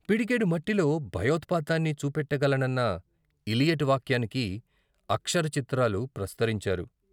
పిడికెడు మట్టిలో భయోత్పాతాన్ని చూపెట్ట గలనన్న ఇలియట్ వాక్యానికి అక్షర చిత్రాలు ప్రస్తరించారు.